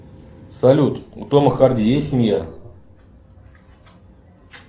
салют у тома харди есть семья